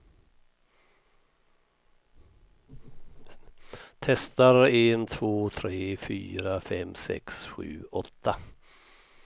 Testar en två tre fyra fem sex sju åtta.